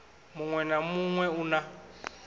muṅwe na muṅwe u na